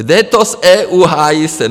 Jde to z EU, hájí se.